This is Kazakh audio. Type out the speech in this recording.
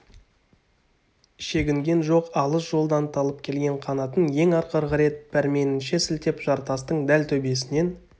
шегінген жоқ алыс жолдан талып келген қанатын ең ақырғы рет пәрменінше сілтеп жартастың дәл төбесінен